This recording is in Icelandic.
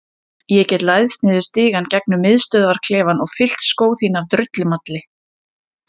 Ég get læðst niður stigann gegnum miðstöðvarklefann og fyllt skó þína af drullumalli.